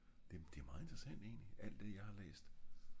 det er meget interessant egentlig alt det jeg har læst